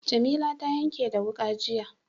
Jamila ta yanke da wuƙa, jiya.